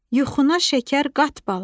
Yuxuna şəkər qat bala.